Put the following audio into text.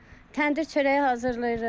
Təndir çörəyi hazırlayırıq.